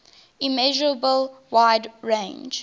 immeasurable wide range